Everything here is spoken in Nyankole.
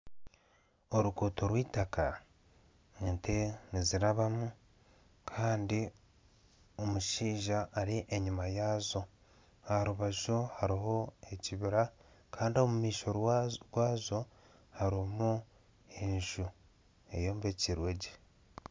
Oruguuto rwitaka ente nizirabamu Kandi omushaija ari enyuma yaazo aha rubaju hariho ekibira Kandi omu maisho rwazo hariho enju eyombekire gye